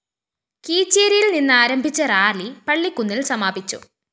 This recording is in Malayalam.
കീച്ചേരിയില്‍ നിന്നാരംഭിച്ച റാലി പള്ളിക്കുന്നില്‍ സമാപിച്ചു